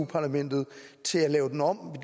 parlamentet til at lave den om